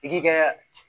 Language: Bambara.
I k'i kɛ